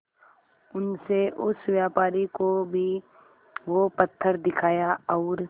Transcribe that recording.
उनसे उस व्यापारी को भी वो पत्थर दिखाया और